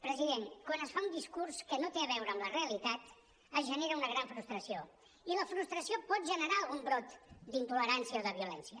president quan es fa un discurs que no té a veure amb la realitat es genera una gran frustració i la frustració pot generar algun brot d’intolerància o de violència